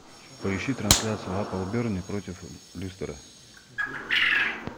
поищи трансляцию апл бернли против лестера